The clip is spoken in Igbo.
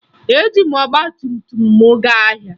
Eji m ọgbatumtum m gaa ahịa